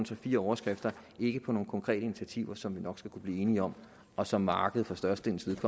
fire overskrifter ikke på nogle konkrete initiativer som vi nok skal kunne blive enige om og som markedet for størstedelens